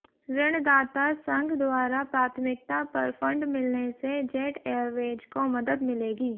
ऋणदाता संघ द्वारा प्राथमिकता पर फंड मिलने से जेट एयरवेज को मदद मिलेगी